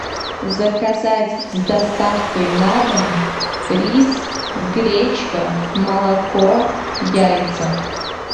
заказать с доставкой на дом рис гречка молоко яйца